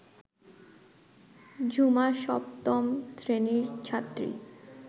ঝুমা সপ্তম শ্রেণীর ছাত্রী